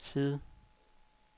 side